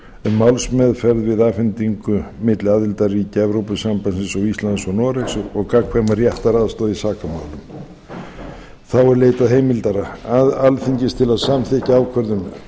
um málsmeðferð við afhendingu milli aðildarríkja evrópusambandsins og íslands og noregs og gagnkvæma réttaraðstoð í sakamálum þá er leitað heimildar alþingis til að samþykkja ákvörðun